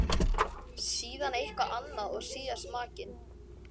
Síðan eitthvað annað og síðast makinn.